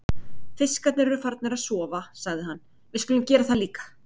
Fiskarnir eru farnir að sofa, sagði hann, við skulum gera það líka.